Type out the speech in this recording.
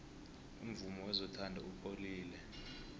umvumo wezothando upholile